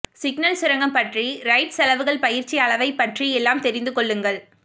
signal சுரங்கம் பற்றி ரைட் செலவுகள் பயிற்சி அளவைப் பற்றி எல்லாம் தெரிந்து கொள்ளுங்கள்